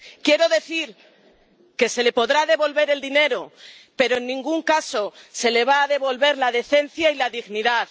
Quiero decir que se le podrá devolver el dinero, pero en ningún caso se le va a devolver la decencia y la dignidad